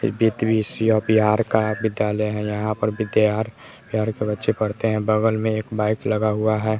बिहार का विद्यालय है यहां पर विद्यार बिहार के बच्चे पढ़ते हैं बगल में एक बाइक लगा हुआ हैं।